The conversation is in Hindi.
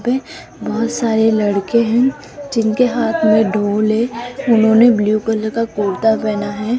पे बहहोत सारे लड़के हैं जिनके हाथ में ढोल है उन्होंने ब्लू कलर का कुर्ता पहना है।